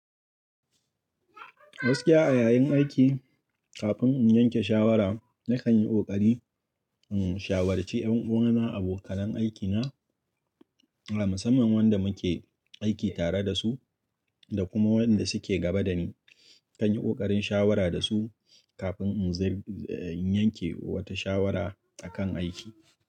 Gaskiya a yayin aiki. Kafin in yanke shawara, na kan yi ƙoƙari in shawarci ƴan uwan abokanan aikina a musamman wanda muke aiki tare da su da kuma wanda suke gaba dani. Na kan yi ƙoƙarin shawara da su kafin in yanke wata shawara akan aiki.